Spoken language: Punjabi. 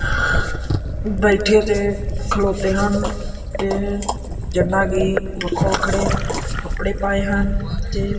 ਬੈਠੇ ਤੇ ਖਲੋਤੇ ਹਨ ਤੇ ਜਿੰਨਾ ਕਿ ਵੱਖੋ ਵੱਖਰੇ ਕੱਪੜੇ ਪਾਏ ਹਨ ਤੇ--